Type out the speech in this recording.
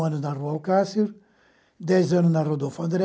anos na Rua Alcácer, dez anos na Rodolfo André,